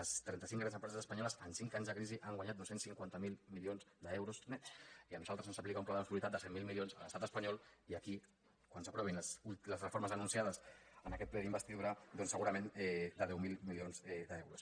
les trenta cinc grans empreses espanyoles en cinc anys de crisi han guanyat dos cents i cinquanta miler milions d’euros nets i a nosaltres se’ns aplica un pla d’austeritat de cent miler milions a l’estat espanyol i aquí quan s’aprovin les reformes anuncia des en aquest ple d’investidura doncs segurament de deu mil milions d’euros